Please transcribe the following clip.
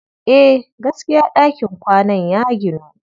Eh, gaskiya ɗakin kwanan ya ginu.